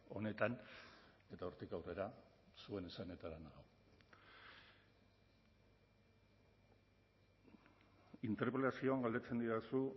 honetan eta hortik aurrera zuen esanetara nago interpelazioan galdetzen didazu